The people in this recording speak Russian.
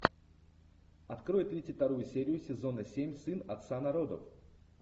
открой тридцать вторую серию сезона семь сын отца народов